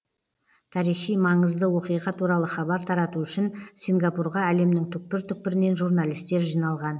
тарихи маңызды оқиға туралы хабар тарату үшін сингапурға әлемнің түкпір түкпірінен журналистер жиналған